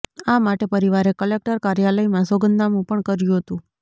આ માટે પરિવારે કલેક્ટર કાર્યાલયમાં સોગંદનામુ પણ કર્યુ હતુ